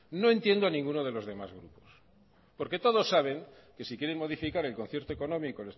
no entiendo a ninguno de los demás grupos porque todos saben que si quieren modificar el concierto económico